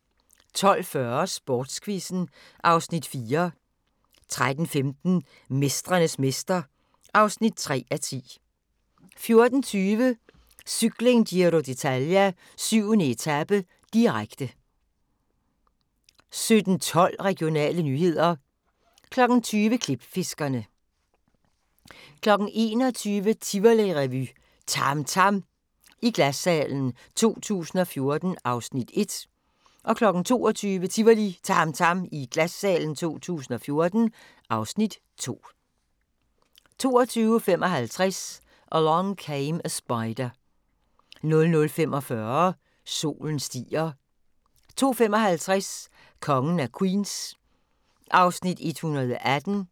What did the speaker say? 12:40: Sportsquizzen (Afs. 4) 13:15: Mestrenes mester (3:10) 14:30: Cykling: Giro d'Italia - 7. etape, direkte 17:12: Regionale nyheder 20:00: Klipfiskerne 21:00: Tivolirevy – TAM TAM i Glassalen 2014 (Afs. 1) 22:00: Tivolirevy – TAM TAM i Glassalen 2014 (Afs. 2) 22:55: Along Came a Spider 00:45: Solen stiger 02:55: Kongen af Queens (118:216)